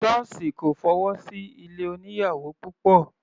Sọ́ọ̀sì kò fọwọ́ sí ilé oníyàwò púpọ̀.